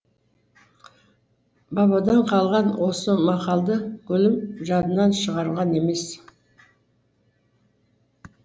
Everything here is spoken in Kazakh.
бабадан қалған осы мақалды гүлім жадынан шығарған емес